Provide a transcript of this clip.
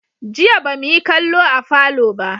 Jiya ba mu yi kallo a falo ba.